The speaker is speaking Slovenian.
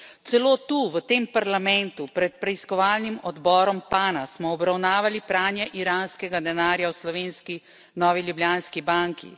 Celo tu, v tem Parlamentu, smo pred preiskovalnim odborom PANA obravnavali pranje iranskega denarja v slovenski Novi Ljubljanski banki.